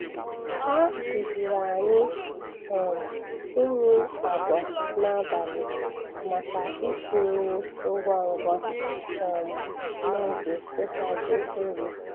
Ha kụziiri anyị um imi agwa n'abalị maka isi nri ngwa ngwa um n'oge nhazi nri.